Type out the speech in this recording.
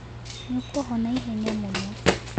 Nĩ ũkohona ihenya mũno.